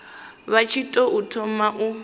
vha tshi tou thoma u